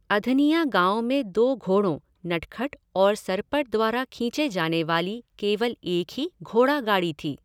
अधनिया गाँव में दो घोड़ों नटखट और सरपट द्वारा खींचे जानेवाली केवल एक ही घोड़ागाड़ी थी।